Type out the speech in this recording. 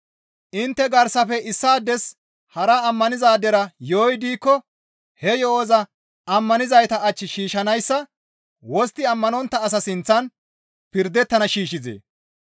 Intte garsafe issaades hara ammanizaadera yo7oy diikko he yo7oza ammanizayta ach shiishshanayssa wostti ammanontta asa sinththan pirdettana shiishshizee?